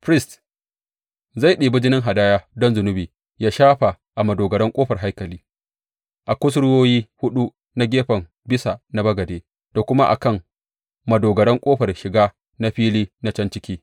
Firist zai ɗibi jinin hadaya don zunubi ya shafa a madogaran ƙofar haikali, a kusurwoyi huɗu na gefen bisa na bagade da kuma a kan madogaran ƙofar shiga na fili na can ciki.